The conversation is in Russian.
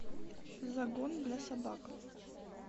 загон для собак